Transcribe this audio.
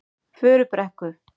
Furubrekku